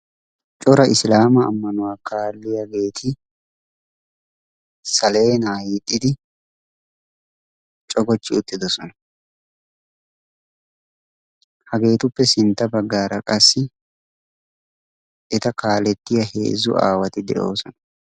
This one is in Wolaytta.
cora islaama ammanuwaa kaalliyaageeti saleenaa hixxidi cogochchi uttidosona. hageetuppe sintta baggaara qassi eta kaalettiya heezzu aawati de7oosona.